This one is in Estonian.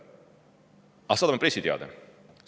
Aga saadame pressiteate!